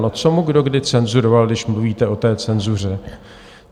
No co mu kdo kdy cenzuroval, když mluvíte o té cenzuře?